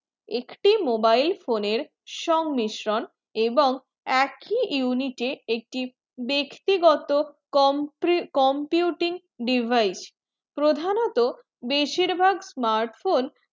একটি mobile এর সংমিশ্রণ এবং এক ই unit এ একটি ব্যক্তি গত compre~ computing device প্রধানতঃ বেশির ভায়াক smart phone